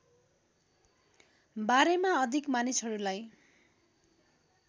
बारेमा अधिक मानिसहरूलाई